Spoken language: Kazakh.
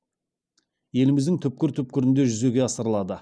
еліміздің түкпір түкпірінде жүзеге асырылады